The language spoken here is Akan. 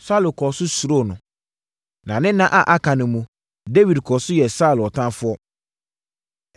Saulo kɔɔ so suroo no, na ne nna a aka no mu, Dawid kɔɔ so yɛɛ Saulo ɔtamfoɔ.